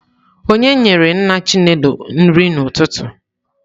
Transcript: Onye nyere nna Chinelo nri n'ụtụtụ?